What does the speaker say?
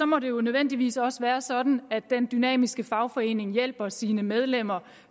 må det jo nødvendigvis også være sådan at den dynamiske fagforening hjælper sine medlemmer